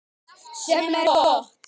Sem er gott.